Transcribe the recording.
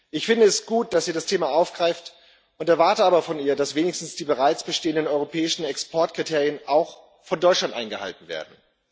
Ich finde es gut, dass sie das Thema aufgreift, nd erwarte aber von ihr, dass wenigstens die bereits bestehenden europäischen Exportkriterien auch von Deutschland eingehalten werden.